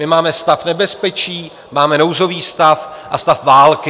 My máme stav nebezpečí, máme nouzový stav a stav války.